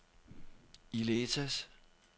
Illetas